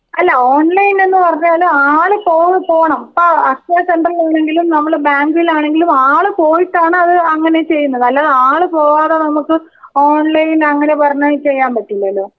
അല്ല ഓൺലൈന് എന്ന് പറഞ്ഞാൽ ആൾ പോ പോണം ഇപ്പോ അക്ഷയ സെന്ററിൽ ആണെങ്കിലും നമ്മൾ ബാങ്കിലാണെങ്കിലും ആൾ പോയിട്ടാണ് അത് അങ്ങനെ ചെയുന്നത് അല്ലാതെ ആൾ പോവാതെ നമ്മുക്ക് ഓൺലൈൻ അങ്ങനെ പറഞ്ഞ് ചെയ്യാൻ പറ്റില്ലല്ലോ?